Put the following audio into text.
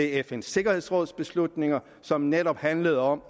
fns sikkerhedsråds beslutninger som netop handler om